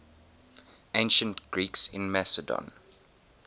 ancient greeks in macedon